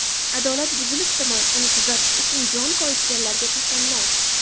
Adolat buzilibdimi, uni tuzatish uchun jon koyitganlarga tasanno.